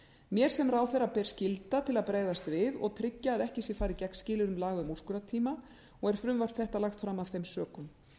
mér sem ráðherra ber skylda til að bregðast við og tryggja að ekki sé farið gegn skilyrðum laga um úrskurðartíma og er frumvarp þetta lagt fram af þeim sökum